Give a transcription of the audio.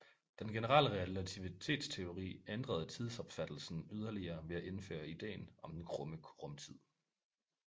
Den generelle relativitetsteori ændrede tidsopfattelsen yderligere ved at indføre ideen om den krumme rumtid